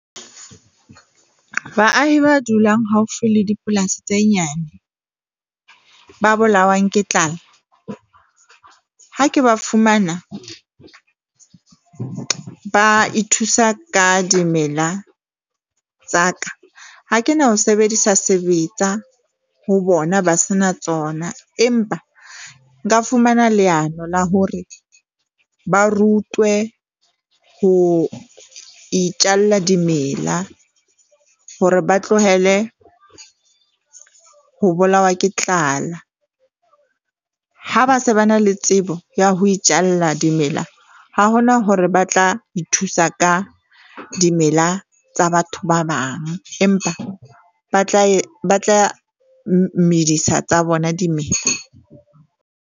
Baahi ba dulang haufi le dipolasi tse nyane ba bolawang ke tlala. Ha ke ba fumana, ba ithusa ka dimela tsa ka ha kena ho sebedisa sebetsa ho bona ba se na tsona, empa nka fumana leano la hore ba rutwe ho itjalla dimela hore ba tlohele ho bolawa ke tlala. Ha ba se ba na le tsebo ya ho itjalla dimela, ha hona hore ba tla ithusa ka dimela tsa batho ba bang, empa ba tla ba tla medisa tsa bona dimela.